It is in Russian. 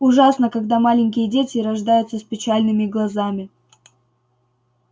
ужасно когда маленькие дети рождаются с печальными глазами